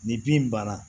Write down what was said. Ni bin banna